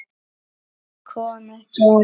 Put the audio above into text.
Kom ekki á óvart.